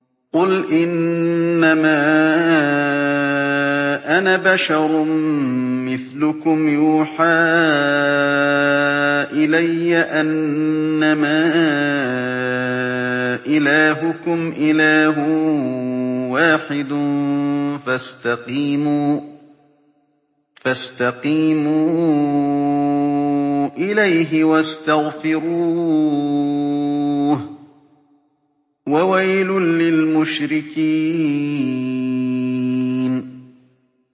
قُلْ إِنَّمَا أَنَا بَشَرٌ مِّثْلُكُمْ يُوحَىٰ إِلَيَّ أَنَّمَا إِلَٰهُكُمْ إِلَٰهٌ وَاحِدٌ فَاسْتَقِيمُوا إِلَيْهِ وَاسْتَغْفِرُوهُ ۗ وَوَيْلٌ لِّلْمُشْرِكِينَ